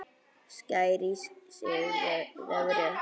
Sækir í sig veðrið.